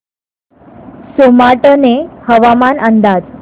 सोमाटणे हवामान अंदाज